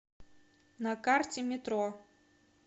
на карте метро